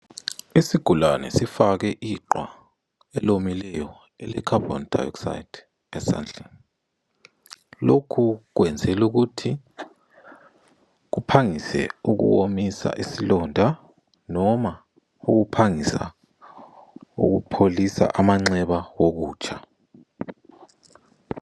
Isigulane sifake iqwa elaneleyo lekhabhoni dayokisayidi esandleni. Lokhu kwenzelwa ukuthi kuphangise ukuwomisa isilonda noma ukuphangisa ukupholisa amanxeba wokutsha.